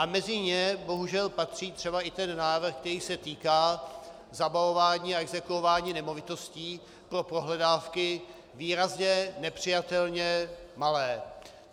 A mezi ně bohužel patří třeba i ten návrh, který se týká zabavování a exekuování nemovitostí pro pohledávky výrazně nepřijatelně malé.